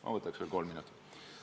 Ma võtaks veel kolm minutit!